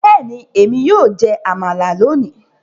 Bẹ́ẹ̀ni, èmi yóò jẹ amala lónìí